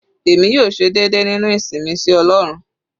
Èmi yóò ṣe déédé nínú ìsìn mi sí ọlọ́run.